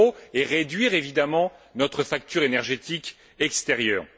et réduire évidemment notre facture énergétique extérieure.